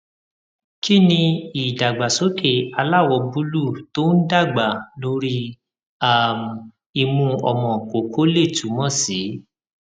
kí ni idagbasoke aláwọ búlúù tó ń dàgbà lórí um imu omo koko lè túmọ sí